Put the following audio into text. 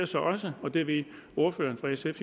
så også og det ved ordføreren for sf